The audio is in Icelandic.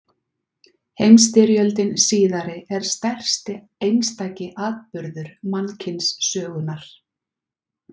Heimsstyrjöldin síðari er stærsti einstaki atburður mannkynssögunnar.